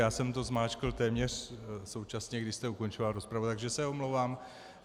Já jsem to zmáčkl téměř současně, když jste ukončoval rozpravu, takže se omlouvám.